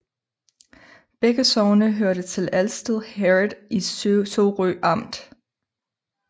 Begge sogne hørte til Alsted Herred i Sorø Amt